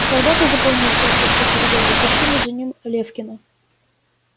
солдаты заполнившие все коридоры тащили за ним лефкина